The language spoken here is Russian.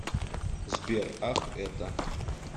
сбер ах это